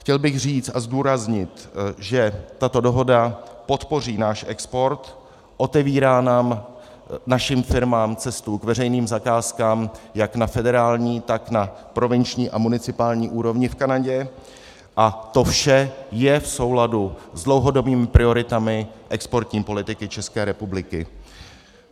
Chtěl bych říci a zdůraznit, že tato dohoda podpoří náš export, otevírá nám, našim firmám, cestu k veřejným zakázkám jak na federální, tak na provinční a municipální úrovni v Kanadě, a to vše je v souladu s dlouhodobými prioritami exportní politiky České republiky.